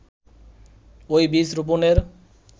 ওই বীজ রোপনের